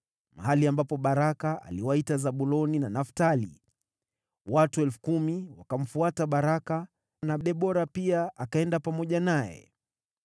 mahali ambapo Baraka aliwaita Zabuloni na Naftali. Watu 10,000 wakamfuata Baraka, na Debora pia akaenda pamoja naye.